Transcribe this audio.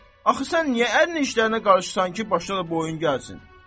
Axı sən niyə ərinin işlərinə qarışırsan ki, başına da oyun gəlsin?